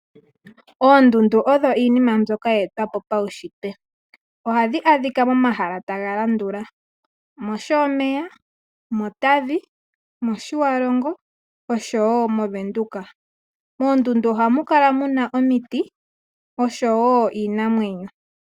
Oondundu odho iinima mbyoka ye etwapo paushitwe. Ohadhi adhika mo mahala taga landula mOshomeya, mOtavi, mOtjiwarongo osho wo moVenduka. M oondundu ohamu kala muna omitiosho wo iinamwenyo.